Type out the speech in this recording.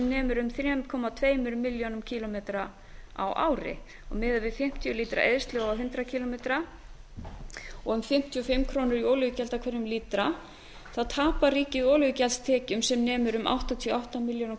nemur um þrjú komma tveimur milljónum kílómetra á ári miðað við fimmtíu lítra eyðslu á hundrað kílómetra og um fimmtíu og fimm krónur í olíugjald af hverjum lítra þá tapar ríkið olíugjaldstekjum sem nemur um áttatíu og átta milljónum